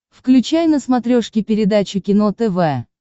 включай на смотрешке передачу кино тв